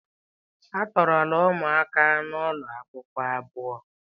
A tọọrọla ụmụaka ụlọ akwụkwọ abuo.